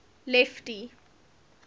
lefty